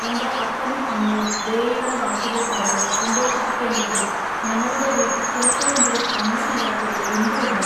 എന്റെ അപ്പനും അമ്മയും ദയയുള്ള വാക്കുകൾ പറഞ്ഞു സന്തോഷിപ്പിക്കെണ്ടതിനു ഞങ്ങളുടെ വീട്ടിൽ ചിലപ്പോഴെങ്കിലും വന്നിട്ടില്ലാത്തതു എന്തു കൊണ്ടു?